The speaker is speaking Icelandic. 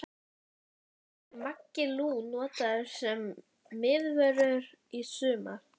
Verður Maggi Lú notaður sem miðvörður í sumar?